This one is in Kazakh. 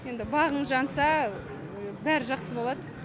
енді бағың жанса бәрі жақсы болады